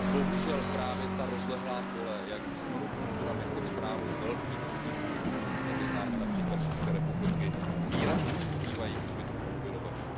Bohužel právě ta rozlehlá pole s monokulturami pod správou velkých podniků, jak je známe například z České republiky, výrazně přispívají k úbytku opylovačů.